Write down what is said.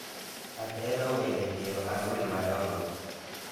Ahero wende piero ang'wen madongo